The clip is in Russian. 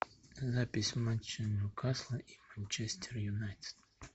запись матча ньюкасла и манчестер юнайтед